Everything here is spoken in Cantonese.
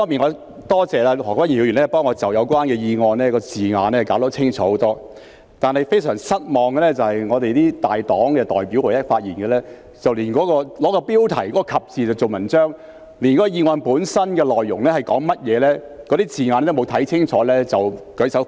我多謝何君堯議員替我把議案的字眼弄清楚很多，但令我非常失望的是本會大黨的代表在其發言中，甚至會以標題的"及"字來造文章，連議案的內容或字眼也沒有看清楚便舉手反對。